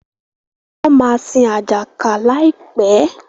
wón má sin Ajaka láìpé.